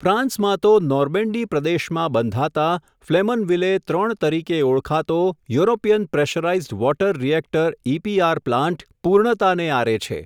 ફ્રાંસમાં તો, નોર્મેન્ડી પ્રદેશમાં બંધાતા, ફલેમનવિલે ત્રણ તરીકે ઓળખાતો, European pressurised water reactor EPR plant, પૂર્ણતાને આરે છે.